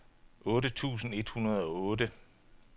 otte tusind et hundrede og otte